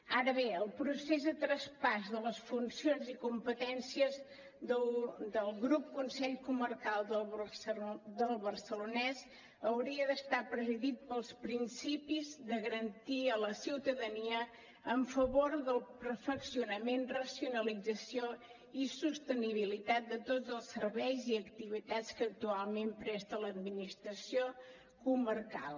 ara bé el procés de traspàs de les funcions i competències del grup consell comarcal del barcelonès hauria d’estar presidit pels principis de garantia a la ciutadania en favor del perfeccionament racionalització i sostenibilitat de tots els serveis i activitats que actualment presta l’administració comarcal